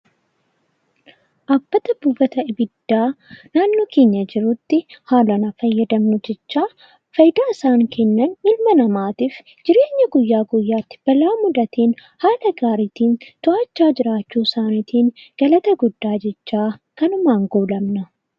Dhaabbata buufata konkolaataa naannoo keenya jirutti seeraan haa fayyadamnu jechaa fayidaan isaan Kennan jireenya namaatiif guyyaa guyyaan balaa mudateen haala gaariin to'achaa jiraachuu isaaniitiin kanumaan goolabna.